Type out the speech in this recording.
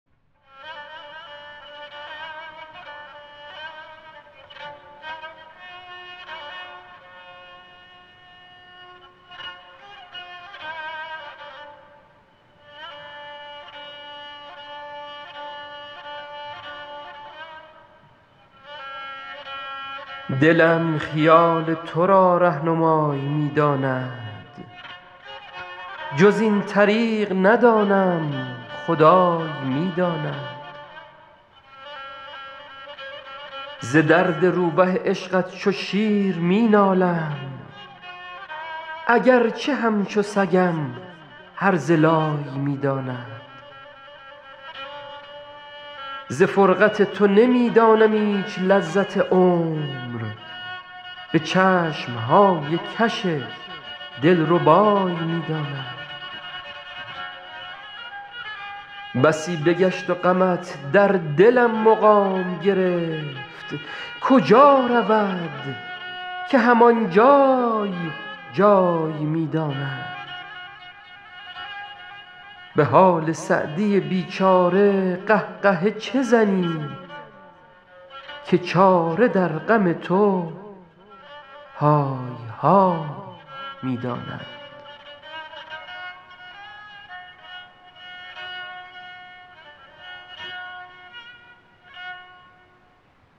دلم خیال تو را رهنمای می داند جز این طریق ندانم خدای می داند ز درد روبه عشقت چو شیر می نالم اگر چه همچو سگم هرزه لای می داند ز فرقت تو نمی دانم ایچ لذت عمر به چشم های کش دل ربای می داند بسی بگشت و غمت در دلم مقام گرفت کجا رود که هم آن جای جای می داند به حال سعدی بی چاره قه قهه چه زنی که چاره در غم تو های های می داند